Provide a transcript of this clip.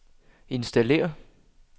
installér